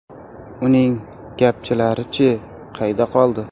Uning ‘gapchi’lari-chi, qayda qoldi?